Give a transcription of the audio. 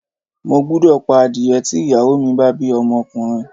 Mo gbúdọ̀ pa adìẹ tí ìyàwó mi bá bí ọmọkùnrin.